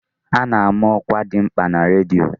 A ná-ama ọkwa dị mkpa na redio.